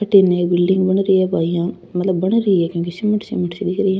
अठे नयी बिलिडिंग बन री है बाइया मतलब बन री है क्युकी सीमेंट सीमेंट सी दिख री है।